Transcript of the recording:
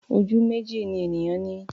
Ojú méjì ni ènìyàn ní.